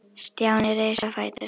Stjáni reis á fætur.